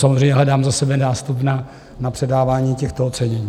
Samozřejmě hledám za sebe nástup na předávání těchto ocenění.